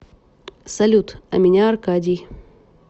салют а меня аркадий